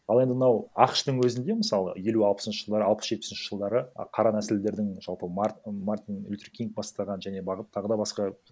ал енді мынау ақш тың өзінде мысалы елу алпысыншы жылдары алпыс жетпісінші жылдары қара нәсілдердің жалпы мартин лютер кинг бастаған және тағы да басқа